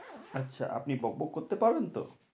আচ্ছা আপনি বক বক করতে পারেন তো?